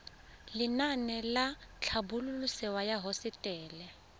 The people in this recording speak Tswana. lenaane la tlhabololosewa ya hosetele